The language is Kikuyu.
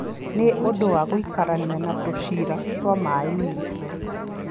Nĩ ũndũ wa gũikarania na tũcĩra twa maaĩ-inĩ,